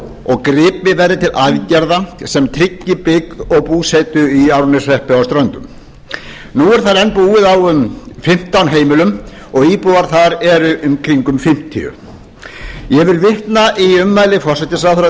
og gripið verði til aðgerða sem tryggi byggð og búsetu í árneshreppi á ströndum nú er þar enn búið á um fimmtán heimilum og íbúar þar eru í kringum fimmtíu ég vil vitna í ummæli forsætisráðherra